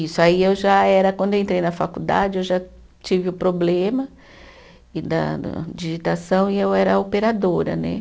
Isso, aí eu já era, quando eu entrei na faculdade, eu já tive o problema e da da digitação e eu era operadora, né?